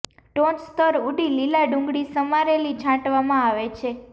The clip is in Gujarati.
ટોચ સ્તર ઉડી લીલા ડુંગળી સમારેલી છાંટવામાં આવે છે